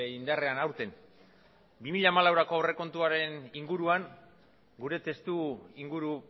indarrean aurten bi mila hamalauko aurrekontuaren inguruan gure testuinguru